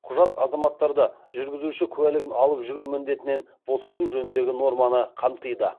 құжат азаматтарды жүргізуші куәлігін алып жүру міндетінен босату жөніндегі норманы қамтиды